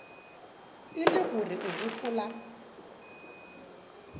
e le gore o gopola